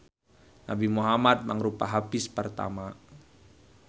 Nabi Muhammad mangrupa hafiz pertama.